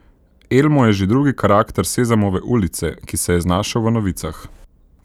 Elmo je že drugi karakter Sezamove ulice, ki se je znašel v novicah.